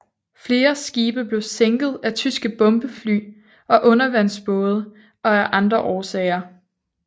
Flere skibe blev sænket af tyske bombefly og undervandsbåde og af andre årsager